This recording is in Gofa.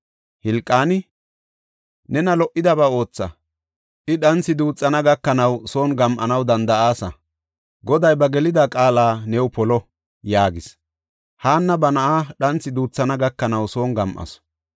Hilqaani, “Nena lo77idaba ootha; I dhanthi duuthana gakanaw son gam7anaw danda7aasa; Goday ba gelida qaala new polo” yaagis. Haanna ba na7aa dhanthi duuthana gakanaw son gam7asu.